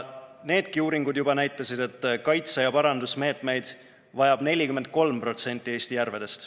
Needki uuringud näitasid, et kaitse‑ ja parandusmeetmeid vajab 43% Eesti järvedest.